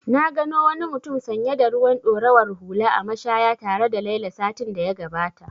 Na gano wani mutum sanye da ruwan ɗorawar hula a mashaya tare da Laila satin da ya gabata.